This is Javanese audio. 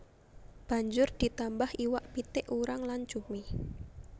Banjur ditambah iwak pitik urang lan cumi